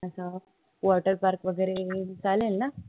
असं water park वगैरे चालेल न